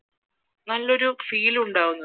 നല്ലൊരു feel ഉണ്ടാകുന്നത്